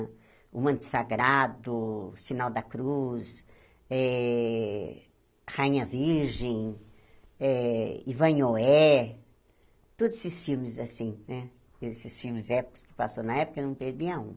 O Manto Sagrado, Sinal da Cruz, eh Rainha Virgem, eh Ivan e Noé, todos esses filmes assim né esses filmes épicos que passou na época, eu não perdi um.